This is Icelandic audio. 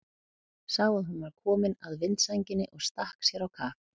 Sá að hún var komin að vindsænginni og stakk sér á kaf.